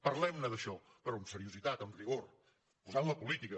parlem ne d’això però amb seriositat amb rigor posant hi la política